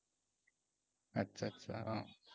আচ্ছা আচ্ছা।